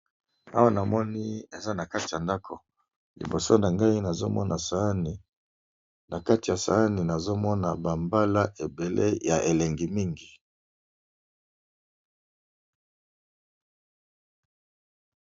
Awa namoni balakisi biso eza nakati ya ndako namoni pe liboso nangai nazomona bambala ya elengi mingi